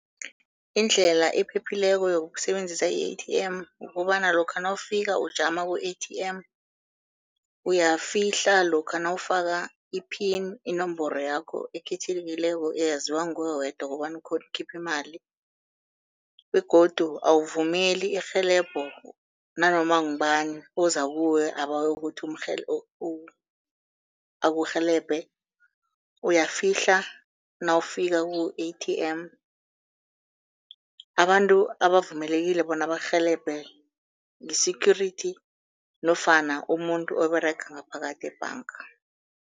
Indlela ephephileko yokusebenzisa i-A_T_M kukobana lokha nawufika ujama ku-A_T_M, uyafihla lokha nawufaka i-pin, inomboro yakho ekhethekileko eyaziwa nguwe wedwa kobana ukghone ukukhipha imali. Begodu awuvumeli irhelebho nanoma ngubani oza kuwe abawe kuthi akurhelebhe. Uyafihla nawufika ku-A_T_M, abantu abavumelekileko bona bakurhelebhe li-security nofana umuntu oberega ngaphakathi ebhanga.